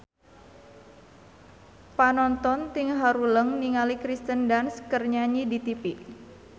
Panonton ting haruleng ningali Kirsten Dunst keur nyanyi di tipi